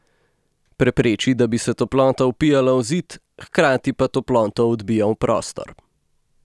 Prepreči, da bi se toplota vpijala v zid, hkrati pa toploto odbija v prostor.